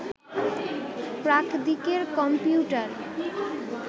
প্রাকদিকের computer